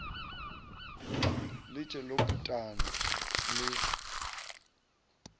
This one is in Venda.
ḽi tshee ḽo putana ḽi